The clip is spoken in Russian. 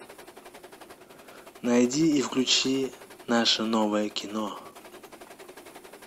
найди и включи наше новое кино